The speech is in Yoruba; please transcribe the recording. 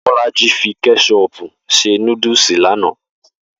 Bó̩lájí fi ké̩s̩o̩o̩pù se núdùlù lánàá